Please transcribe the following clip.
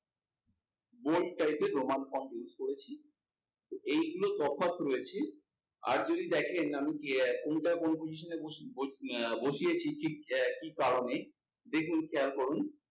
bold type এর roman font use করেছি। তো এইগুলো তফাৎ রয়েছে। আর যদি দেখেন আমি কোনটা কোন position এ বসিয়েছি ঠিক কি কারণে, দেখুন খেয়াল করুন,